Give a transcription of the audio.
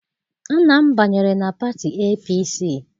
Nna m banyere na pati APC.